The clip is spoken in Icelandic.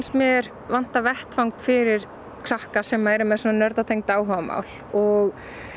mér vanta vettvang fyrir krakka sem eru með svona áhugamál og